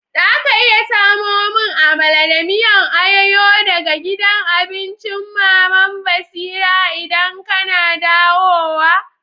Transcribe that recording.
Za ka iya samo mun Amala da miyan ayoyo daga gidan abincin Mama'n Basira idan kana dawowa?